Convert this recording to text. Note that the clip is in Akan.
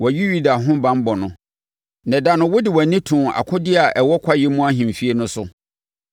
Wɔayi Yuda ho banbɔ no. Na da no wode wʼani too akodeɛ a ɛwɔ Kwaeɛ mu Ahemfie no so;